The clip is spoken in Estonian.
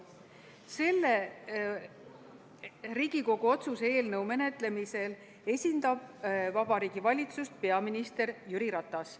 Selle Riigikogu otsuse eelnõu menetlemisel esindab Vabariigi Valitsust peaminister Jüri Ratas.